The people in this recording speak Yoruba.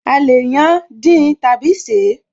A lè yán, dín tàbí ṣeé